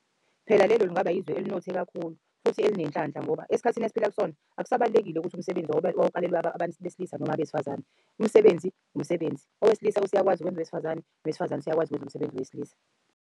Phela lelo lungaba yizwe elinothe kakhulu futhi elinenhlanhla, ngoba esikhathini esiphila kusona akusabalulekile ukuthi umsebenzi wawuqalelwe abantu besilisa noma abesifazane. Umsebenzi umsebenzi owesilisa useyakwazi ukwenza wesifazane, nowesifazane useyakwazi ukwenza umsebenzi wesilisa.